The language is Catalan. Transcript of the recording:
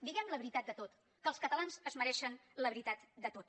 diguem la veritat de tot que els catalans es mereixen la veritat de tot